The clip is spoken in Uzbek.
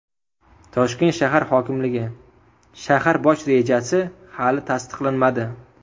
Toshkent shahar hokimligi: Shahar bosh rejasi hali tasdiqlanmadi.